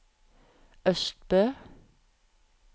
Østbø